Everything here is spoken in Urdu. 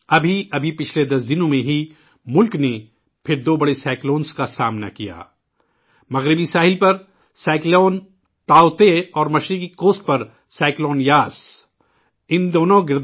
ابھی حال ہی میں ، پچھلے 10 دنوں میں ملک کو دو بڑے سمندری طوفانوں مغربی ساحل پر سمندری طوفان تاوتے اور مشرقی ساحل پر سمندری طوفان یاس کا سامنا کرنا پڑا